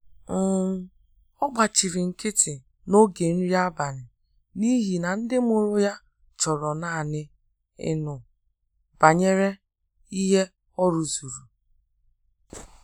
um Ọ́ gbàchìrì nkị́tị́ n’ógè nrí ábàlị̀ n’íhí nà ndị́ mụ́rụ̀ yá chọrọ nāànị́ ị́nụ́ bànyèrè ìhè ọ rụ́zùrù.